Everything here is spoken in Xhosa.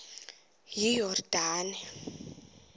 iyordane